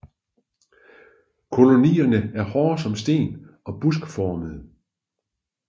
Kolonierne er hårde som sten og buskformede